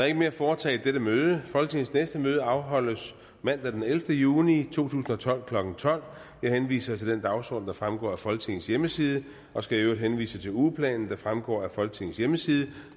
ikke mere at foretage i dette møde folketingets næste møde afholdes mandag den ellevte juni tusind og tolv klokken tolv jeg henviser til den dagsorden der fremgår af folketingets hjemmeside og skal i øvrigt henvise til ugeplanen der fremgår af folketingets hjemmeside